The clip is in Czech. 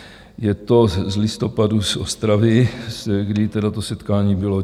Je to z listopadu z Ostravy, kdy tedy to setkání bylo.